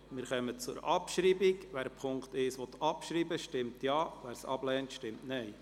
Wer die Ziffer 1 abschreiben möchte, stimmt Ja, wer dies ablehnt, stimmt Nein.